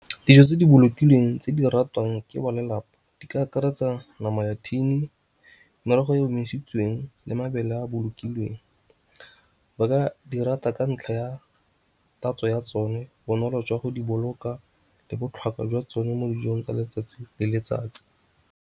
Dijo tse di bolokilweng tse di ratwang ke ba lelapa di ka akaretsa nama ya tin, merogo e omisitsweng le mabele ya bolokilweng. Ba ka di rata ka ntlha ya tatso ya tsone, bonolo jwa go diboloka le botlhokwa jwa tsone mo dijong tsa letsatsi le letsatsi.